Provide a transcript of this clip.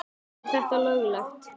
Er þetta löglegt?